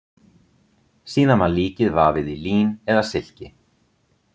Síðan var líkið vafið í lín eða silki.